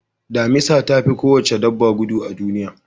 Damisa ta fi kowace dabba gudu a duniya.